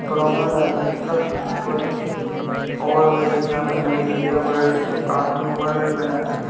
नदी का पुल ओवर-ब्रिज है यहाँ पर नदी गयी है ब्रिज से। ओवर-ब्रिज बना है।